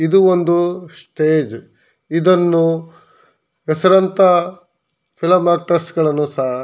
ಇದು ಒಂದು ಸ್ಟೇಜ್ ಇದನ್ನು ಹೆಸರಾಂತ ಫಿಲಂ ಆಕ್ಟ್ರೆಸ್ಗಳನ್ನೂ ಸಹ--